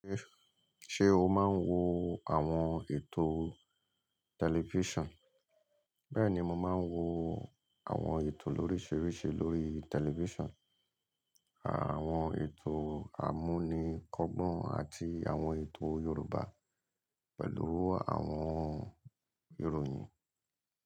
Ṣé o máa ń wo àwọn ètò tẹlifíṣàn? Bẹ́ẹ̀ni, mo máa ń wo àwọn ètò lóríṣiríṣi lórí tẹlifísàn, àwọn ètò àmúni kọgbọn àti àwọn ètò Yorùbá pẹ̀lú àwọn ìròyìn.